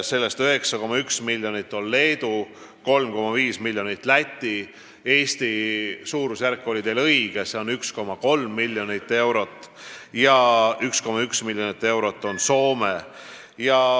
Sellest 9,1 miljonit läks Leedule, 3,5 miljonit Lätile ja 1,3 miljonit Eestile ning 1,1 miljonit eurot Soomele.